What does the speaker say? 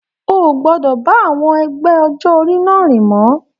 O o gbọdọ bá àwọn ẹgbẹ́ ọjọ orí náà rìn mọ!